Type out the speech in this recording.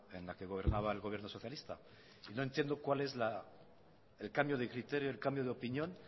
en la que gobernaba el gobierno socialista y no entiendo cuál es el cambio de criterio el cambio de opinión